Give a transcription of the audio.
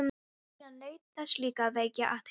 Nína naut þess líka að vekja athygli.